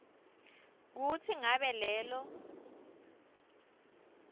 kutsi ngabe lelo